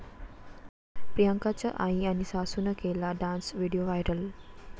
प्रियांकाच्या आई आणि सासूनं केला डान्स, व्हिडिओ व्हायरल